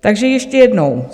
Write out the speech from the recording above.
Takže ještě jednou.